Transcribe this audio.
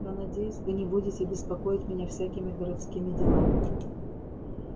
но надеюсь вы не будете беспокоить меня всякими городскими делами